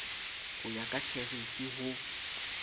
di ya ka therifi ho